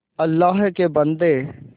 अल्लाह के बन्दे